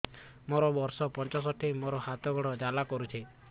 ମୋର ବର୍ଷ ପଞ୍ଚଷଠି ମୋର ହାତ ଗୋଡ଼ ଜାଲା କରୁଛି